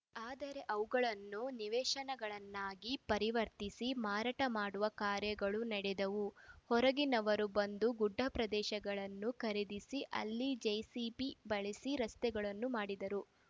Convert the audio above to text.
ಆದರೆ ಅವುಗಳನ್ನು ನಿವೇಶನಗಳನ್ನಾಗಿ ಪರಿವರ್ತಿಸಿ ಮಾರಾಟ ಮಾಡುವ ಕಾರ್ಯಗಳು ನಡೆದವು ಹೊರಗಿನವರು ಬಂದು ಗುಡ್ಡಪ್ರದೇಶಗಳನ್ನು ಖರೀದಿಸಿ ಅಲ್ಲಿ ಜೆಸಿಬಿ ಬಳಸಿ ರಸ್ತೆಗಳನ್ನು ಮಾಡಿದರು